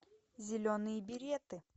зеленые береты